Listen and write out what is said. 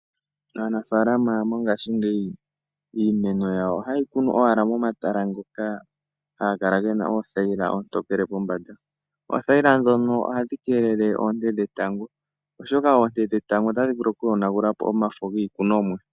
Aanafaalama mongashingeyi iimeno yawo ohayeyi kunu momatala ngoka haga kala gena oothayila oontokele pombanda. ootahyila ndhono ohadhi keelele oonte dhetango oshoka oonte dhetango omafo giikunomwa.